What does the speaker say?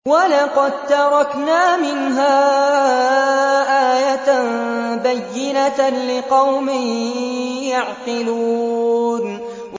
وَلَقَد تَّرَكْنَا مِنْهَا آيَةً بَيِّنَةً لِّقَوْمٍ يَعْقِلُونَ